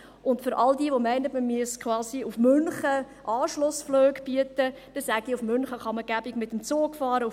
Und allen, die meinen, dass man quasi Anschlussflüge nach München bieten müsse, sage ich, dass man nach München bequem mit dem Zug fahren kann.